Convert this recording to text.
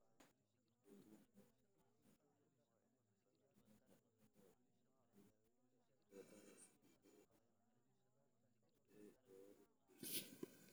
Dadka qaar ee qaba AD Robinowga cilada waxay dhaxlaan hiddo-wadaha is-beddelay ee waalidkii uu saameeyey.